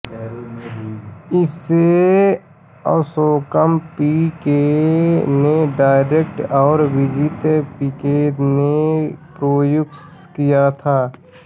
इसे Ashokam P K ने direct और विजित पीके ने प्रोड्यूस किया था